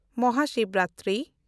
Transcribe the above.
Mahashivratri